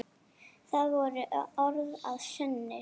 Það voru orð að sönnu.